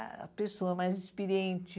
A pessoa mais experiente.